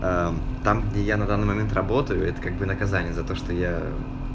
а там где я на данный момент работаю это как бы наказание за то что я